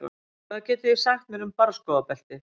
Hvað getið þið sagt mér um barrskógabeltið?